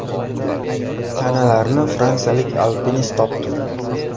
Tanalarni fransiyalik alpinist topdi.